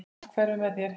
Allt hverfur með þér.